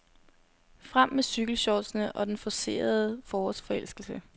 Frem med cykelshortsene og den forcerede forårsforelskelse.